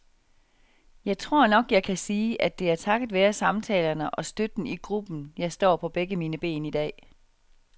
Jeg tror nok, jeg kan sige, at det er takket være samtalerne og støtten i gruppen, jeg står på begge mine ben i dag.